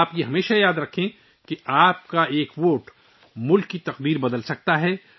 آپ کو ہمیشہ یاد رکھنا چاہیے کہ آپ کا ایک ووٹ ملک کی تقدیر بدل سکتا ہے